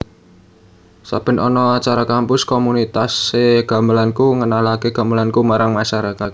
Saben ana acara kampus komunitas e gamelanKu ngenalake e gamelanKu marang masyarakat